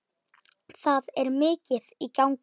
Það er mikið í gangi.